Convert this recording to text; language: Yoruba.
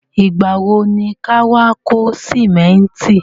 Ìgbà wo ni ka wá kó sìmẹ́ntì?